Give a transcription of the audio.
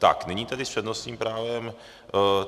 Tak nyní tedy s přednostním právem...